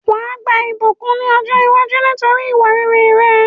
Wàá gba ìbùkún ni ọ̀jọ́ iwájú nítorí ìwà rere rẹ